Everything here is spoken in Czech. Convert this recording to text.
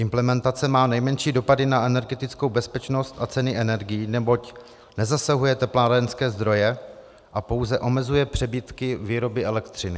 Implementace má nejmenší dopady na energetickou bezpečnost a ceny energií, neboť nezasahuje teplárenské zdroje a pouze omezuje přebytky výroby elektřiny.